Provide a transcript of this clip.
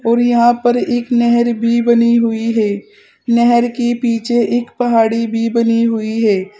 और यहां पर एक नहर भी बनी हुई है नहर के पीछे एक पहाड़ी भी बनी हुई है।